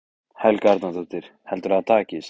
Helga Arnardóttir: Heldurðu að það takist?